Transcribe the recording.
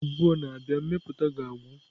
Izu abụọ na-abịa, mmepụta ga-agwụ.